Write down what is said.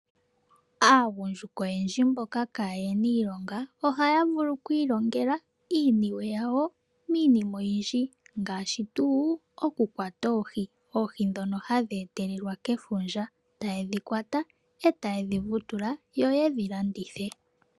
Aagundjuka oyendji mboka kaaye na iilonga ohaya vulu okwiilongela iiniwe yawo miinima oyindji ngaashi tuu okukwata oohi, oohi ndhono hadhi etelelwa kefundja. Taye dhi kwata taye dhi vutula yo yedhi landithe.